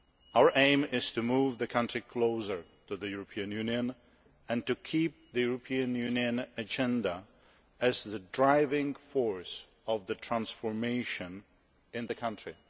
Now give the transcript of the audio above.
Our aim is to move the country closer to the European Union and to keep the European Union agenda as the driving force of the transformation in the country.